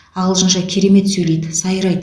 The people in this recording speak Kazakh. ағылшынша керемет сөйлейді сайрайды